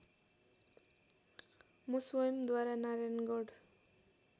म स्वयम्‌द्वारा नारायणगढ